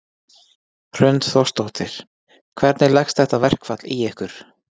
Hrund Þórsdóttir: Hvernig leggst þetta verkfall í ykkur?